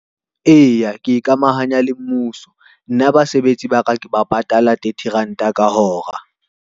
Eya, ke ikamahanya le mmuso. Nna basebetsi ba ka ke ba patala thirty ranta ka hora.